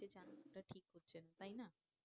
জানানোটা ঠিক হচ্ছে না তাই না?